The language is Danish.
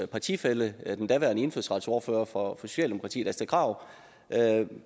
partifælle den daværende indfødsretsordfører for socialdemokratiet astrid krag